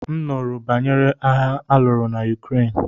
M nụrụ banyere agha aluru na Ukraine.